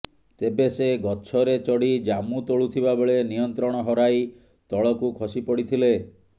ତେବେ ସେ ଗଛରେ ଚଢ଼ି ଜାମୁ ତୋଳୁଥିବା ବେଳେ ନିୟନ୍ତ୍ରଣ ହରାଇ ତଳକୁ ଖସି ପଡ଼ିଥିଲେ